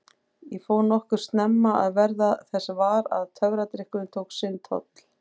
Ég fór nokkuð snemma að verða þess var að töfradrykkurinn tók sinn toll.